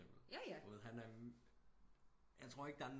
Både han jeg tror ikke der er